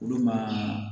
Olu ma